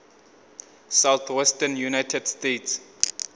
southwestern united states